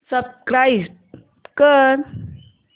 subscribe कर